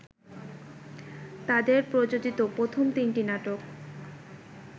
তাদের প্রযোজিত প্রথম তিনটি নাটক